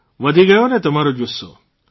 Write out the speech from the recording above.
વધી ગયોને તમારો જુસ્સો